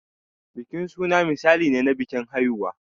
Bikin suna misali ne na bikin haihuwa.